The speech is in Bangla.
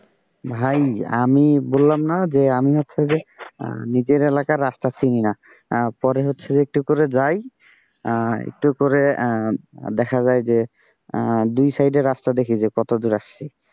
ভাই আমি বললাম না যে আমি হচ্ছে যে নিজের এলাকার রাস্তা চিনি না পরে হচ্ছে একটু করে যাই, একটু করে দেখা যায় যে দুই সাইডে রাস্তা দেখি যে কতদূর আসছি।